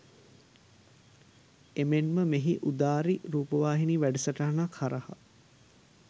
එමෙන්ම මෙහි උදාරි රූපවාහිනී වැඩසටහනක් හරහා